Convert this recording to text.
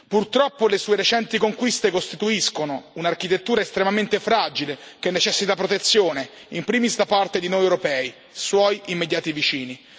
Purtroppo, le sue recenti conquiste costituiscono un'architettura estremamente fragile che necessita protezione in primis da parte di noi europei, suoi immediati vicini.